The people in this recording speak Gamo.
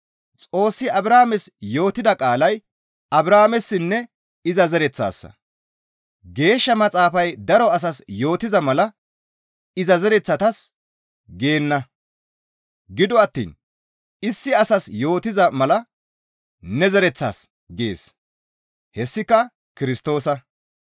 Xoossi Abrahaames yootida qaalay Abrahaamessinne iza zereththassa; Geeshsha Maxaafay daro asas yootiza mala, «Iza zereththatas» geenna; gido attiin issi asas yootettiza mala, «Ne zereththas» gees; hessika Kirstoosa.